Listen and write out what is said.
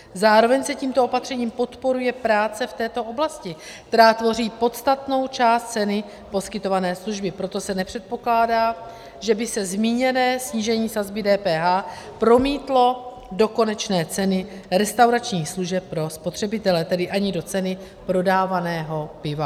Zároveň se tímto opatřením podporuje práce v této oblasti, která tvoří podstatnou část ceny poskytované služby, proto se nepředpokládá, že by se zmíněné snížení sazby DPH promítlo do konečné ceny restauračních služeb pro spotřebitele, tedy ani do ceny prodávaného piva.